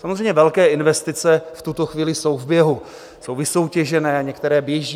Samozřejmě, velké investice v tuto chvíli jsou v běhu, jsou vysoutěžené, některé běží.